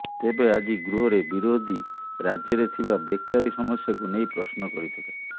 ତେବେ ଆଜି ଗୃହରେ ବିରୋଧୀ ରାଜ୍ୟରେ ଥିବା ବେକାରୀ ସମସ୍ୟାକୁ ନେଇ ପ୍ରଶ୍ନ କରିଥିଲେ